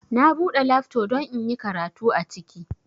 Na bude lafto don inyi karatu aciki